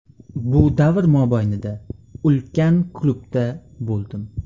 Bu davr mobaynida ulkan klubda bo‘ldim.